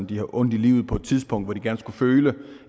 de har ondt i livet på et tidspunkt hvor de gerne skulle føle